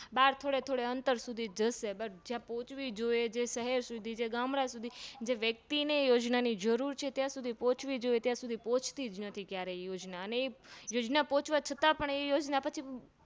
બાર થોડે થોડે અંતર સુધી જશે જ્યાં પોચવી જોઈએ જે શહેર સુધી ગામડાં સુધી જે વ્યક્તિને યોજનાની જરૂર છે ત્યાં સુધી પોહ્ચવી જોઈએ ત્યાં સુધી પોહ્ચતી જ નથી ક્યારે યોજના અને એ યોજન પોચવા છતાં પણ યોજના